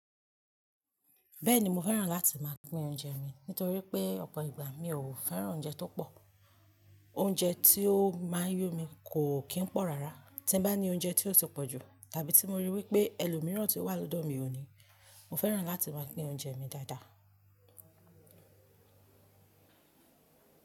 Bẹ́ẹ̀ni mo fẹ́ràn láti máa pín oúnjẹ mi, nítorí pé ọ̀pọ̀ ìgbà mi ò fẹ́ràn oúnjẹ tó pọ̀. Oúnjẹ tí ó máa yó mi kò kí ń pọ̀ rárá. Tí bá ní oúnjẹ tí ó ti pọ̀ jù tàbí tí mo rí wí pé ẹlòmíràn tí ó wà lọ́dọ̀ mi ò ní, mo fẹ́ràn láti máa pín oúnjẹ mi dáadáa.